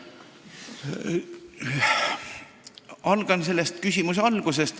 Alustan küsimuse algusest.